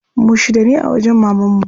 Mu shida ne a wajen mamanmu.